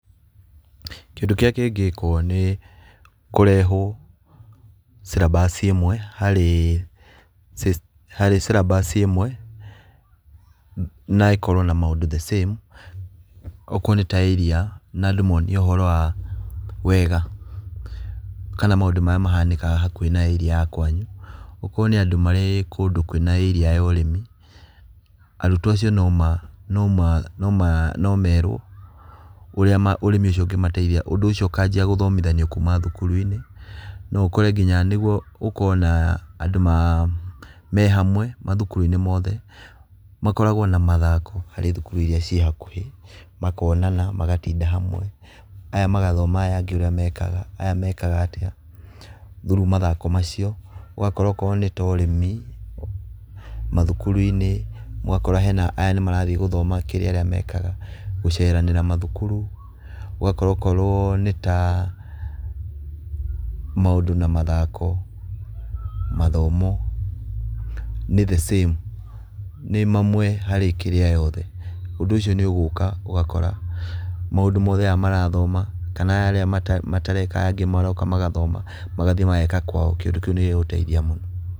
Kĩndũ kĩrĩa kĩngĩkũo nĩ kũrehũo syllabus ĩmwe harĩ syllabus ĩmwe, na ĩkorũo na maũndũ the same okorũo nĩ ta area na andũ monio ũhoro wa, wega kana maũndũ marĩa mahanĩkaga hakuhĩ na area ya kwanyu. O korũo nĩ andũ marĩ kũndũ kũrĩ na area ya ũrĩmi arutwo acio no merũo ũria ũrĩmi ũcio ũngĩmateithia ũndũ ũcio ũkajia gũthomithio kuuma thukuru-inĩ nginya nĩguo ũkore andũ mehamwe mathukuruinĩ mothe makoragwo na mathako harĩ thukuru iria cirĩ hau makonana magatinda hamwe aya magathoma ũrĩa aya angĩ mekaga aya mekaga atĩa through mathako macio ũgakora okorũo nĩ ta ũrĩmi, mathukuruinĩ ũgakora aya nĩ marathiĩ gũ thoma kĩrĩa arĩa mekaga gũceranĩra mathukuru ũgakora o korũo nĩ ta maũndũ na mathako, mathomo nĩ the same, nĩ mamwe harĩ kĩrĩa yothe. Ũndũ ũcio nĩ ũgũka ũgũkora maũndũ mothe aya marathoma kana aya matareka aya angĩ maroka magathoma magathĩĩ mageka kwao kĩũndũ kĩu nĩ gĩgũteithia mũno